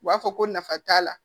U b'a fɔ ko nafa t'a la